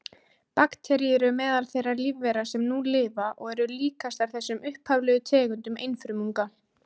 Bakteríur eru meðal þeirra lífvera sem nú lifa og eru líkastar þessum upphaflegu tegundum einfrumunga.